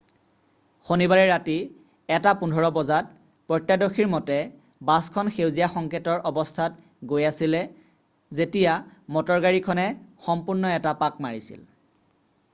শনিবাৰে ৰাতি 1:15 বজাত প্ৰত্যৰ্শদৰ্শীৰ মতে বাছখন সেউজীয়া সংকেটৰ অৱস্থাত গৈ আছিলে যেতিয়া মটৰগাড়ী খনে সন্মুখত এটা পাক মাৰিছিল